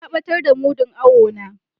Na batar da mudun awo na.